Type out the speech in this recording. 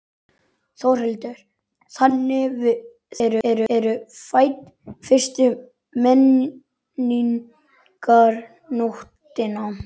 Þórhildur: Þannig þið eru fædd fyrstu Menningarnóttina?